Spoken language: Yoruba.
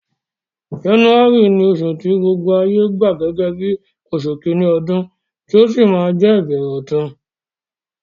January ni osù ti gbogbo ayé gba gẹ́gẹ́ bí osù kíní odún, ti ó si ma je ìbẹ̀rẹ̀ ọ̀tun